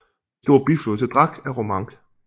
En stor biflod til Drac er Romanche